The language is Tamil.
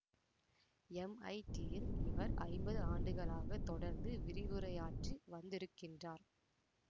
எம் ஐ டியில் இவர் ஐம்பது ஆண்டுகளாக தொடர்ந்து விரிவுரையாற்றி வந்திருக்கின்றார்